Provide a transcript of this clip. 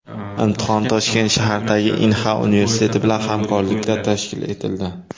Imtihon Toshkent shahridagi Inha universiteti bilan hamkorlikda tashkil etildi.